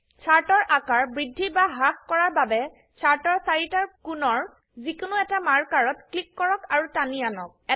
shirt এৰ আকাৰ বৃদ্ধি বা হ্ৰাস কৰাৰ বাবে চাৰ্ট এৰ চাৰিটাৰ কোনৰ যিকোনো এটাৰ মাৰ্কাৰ ত ক্লিক কৰক আৰু টানি আনক